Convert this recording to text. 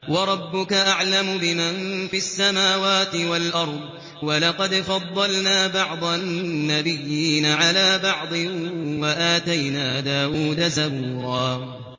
وَرَبُّكَ أَعْلَمُ بِمَن فِي السَّمَاوَاتِ وَالْأَرْضِ ۗ وَلَقَدْ فَضَّلْنَا بَعْضَ النَّبِيِّينَ عَلَىٰ بَعْضٍ ۖ وَآتَيْنَا دَاوُودَ زَبُورًا